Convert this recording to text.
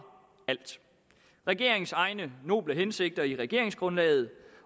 alt regeringens egne noble hensigter i regeringsgrundlaget